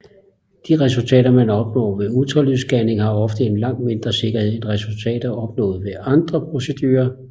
De resultater man opnår med ultralydsscanning har ofte en langt mindre sikkerhed end resultater opnået ved andre procedurer